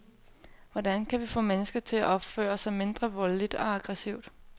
Hvordan kan vi få mennesker til at opføre sig mindre voldeligt og aggressivt.